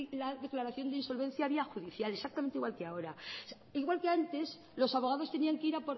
la declaración de insolvencia vía judicial exactamente igual que ahora igual que antes los abogados tenían que ir